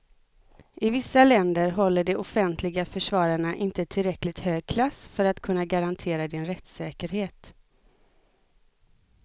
I vissa länder håller de offentliga försvararna inte tillräckligt hög klass för att kunna garantera din rättssäkerhet.